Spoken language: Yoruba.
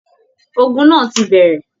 Ògún náà tí bẹrẹ!